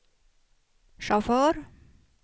chaufför